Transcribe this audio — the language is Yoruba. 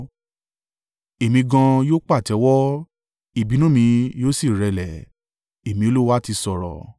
Èmi gan an yóò pàtẹ́wọ́ ìbínú mi yóò sì rẹlẹ̀. Èmi Olúwa ti sọ̀rọ̀.”